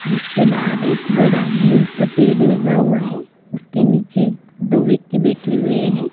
जिसके बाहर एक बड़ा नीम का पेड़ लगा हुआ है उसके नीचे दो व्यक्ति बैठे हुए हैं।